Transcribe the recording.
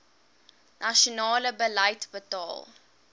nasionale beleid bepaal